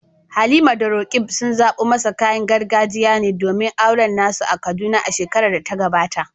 Halima da Roqeeb sun zaɓo masa kayan gargajiya ne domin auren na su a Kaduna a shekarar da ta gabata.